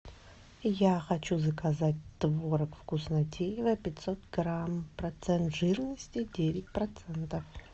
я хочу заказать творог вкуснотеево пятьсот грамм процент жирности девять процентов